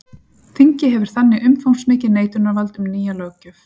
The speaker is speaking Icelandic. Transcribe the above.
Þingið hefur þannig umfangsmikið neitunarvald um nýja löggjöf.